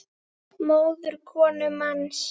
móðir konu manns